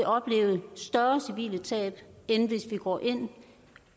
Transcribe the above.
opleve større civile tab end hvis vi går ind